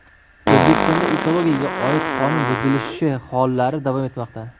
O‘zbekistonda ekologiyaga oid qonun buzilishi hollari davom etmoqda.